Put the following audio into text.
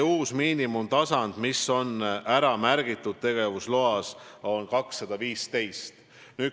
Uus miinimumtasand, mis on tegevusloas kirjas, on 215.